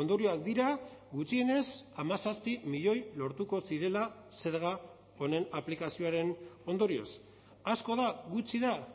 ondorioak dira gutxienez hamazazpi milioi lortuko zirela zerga honen aplikazioaren ondorioz asko da gutxi da